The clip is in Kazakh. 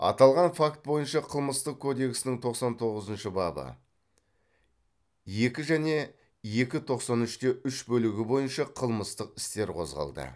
аталған факт бойынша қылмыстық кодексінің тоқсан тоғызыншы бабы екі және екі тоқсан үш те үш бөлігі бойынша қылмыстық істер қозғалды